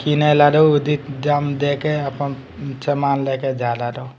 किनेला लोग उदित दाम देको अपन समान लेके जा ला लो।